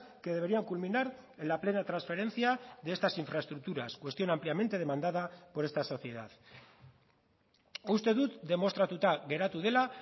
que deberían culminar en la plena transferencia de estas infraestructuras cuestión ampliamente demandada por esta sociedad uste dut demostratuta geratu dela